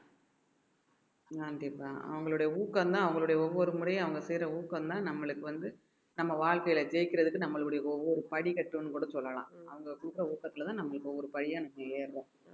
கண்டிப்பா அவங்களுடைய ஊக்கம்தான் அவங்களுடைய ஒவ்வொரு முறையும் அவங்க செய்யற ஊக்கம்தான் நம்மளுக்கு வந்து நம்ம வாழ்க்கையில ஜெயிக்கிறதுக்கு நம்மளுடைய ஒவ்வொரு படிக்கட்டுன்னு கூட சொல்லலாம் அவங்க கொடுக்கிற ஊக்கத்துலதான் நம்ம இப்ப ஒரு ஏர்றோம்